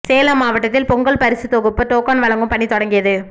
சேலம் மாவட்டத்தில் பொங்கல் பரிசு தொகுப்பு டோக்கன் வழங்கும் பணி தொடங்கியது